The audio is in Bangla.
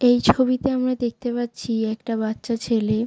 এই ছবিতে আমরা দেখতে পাচ্ছি একটা বাচ্চা ছেলে।